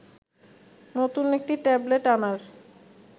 নতুন একটি ট্যাবলেট আনার